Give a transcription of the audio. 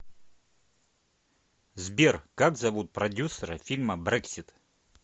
сбер как зовут продюсера фильма брексит